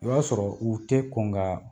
I b'a sɔrɔ u tɛ kɔn kaa